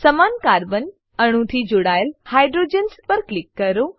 સમાન કાર્બન અણુથી જોડાયેલ હાઇડ્રોજન્સ પર ક્લિક કરો